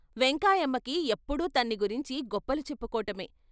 వెంకాయమ్మకి ఎప్పుడూ తన్ని గురించి గొప్పలు చెప్పుకోటమే.